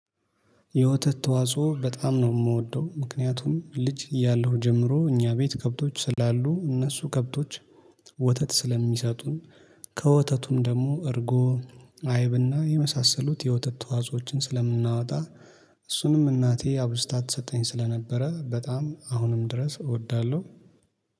የወተት ተዋጽኦ በጣም ነው የምወደው ምክንያቱም ልጅ እያለሁ ጀምሮ እኛ ቤት ከብቶች ስላሉ እነሱ ከብቶች ወተት ስለሚሰጡን ከወተቱም ደግሞ እርጎ አይብና የመሳሰሉት የወተት ተዋፅኦዎችን ስለምናወጣ። እሱንም እናቴ አብዝታ ትሰጠኝ ስለነበረ በጣም አሁንም ድረስ እወዳለሁ።